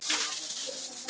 Þín Unnur Svala.